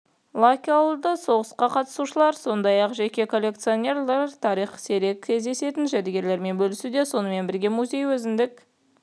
локальді соғысқа қатысушылар сондай-ақ жеке коллекционерлер тарихтың сирек кездесетін жәдігерлерімен бөлісуде сонымен бірге музей өзіндік